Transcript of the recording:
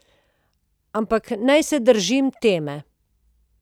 Ampak naj se držim teme.